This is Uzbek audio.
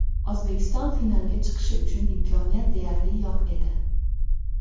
O‘zbekiston finalga chiqishi uchun imkoniyat deyarli yo‘q edi.